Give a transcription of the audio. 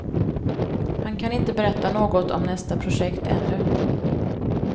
Han kan inte berätta något om nästa projekt ännu.